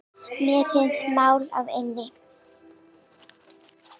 Mér finnst mál að linni.